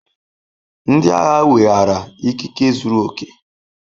Ndị agha weghaara ikike zuru oke.